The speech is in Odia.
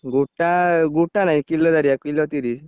ଗୋଟା ଗୋଟା ନାହିଁ କିଲ ଦାରିଆ କିଲ ତିରିଶ୍।